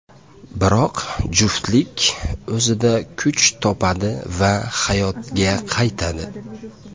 Biroq juftlik o‘zida kuch topadi va hayotga qaytadi.